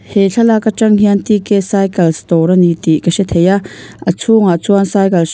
he thlalak atang hian cycles dawr a ni tih ka hre thei a a chhungah chuan cycle hrang--